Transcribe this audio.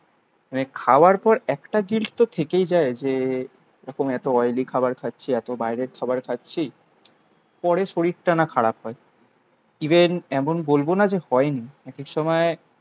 মানে খাওয়ার পর একটা জিনিস তো থেকেই যায় যে এরকম এত অয়েলি খাবার খাচ্ছি এত বাইরের খাবার খাচ্ছি পরে শরীরটা না খারাপ হয় ইভেন এমন বলবো না যে হয়নি এক এক সময়